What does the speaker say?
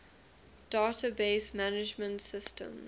database management systems